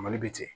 Mali bɛ ten